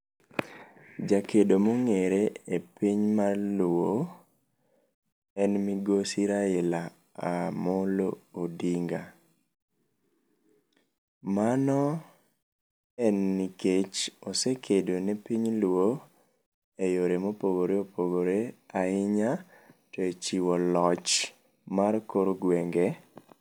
Jakedo mong'ere e piny mar luo en migosi Raila Amolo Odinga. Mano en nikech osekedo ne piny luo eyore mopogore opogore ahinya echiwo loch mar kor gwenge.